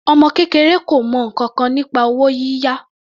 Ọmọ kékeré kò mọ ǹkankan nípa owó yíyá.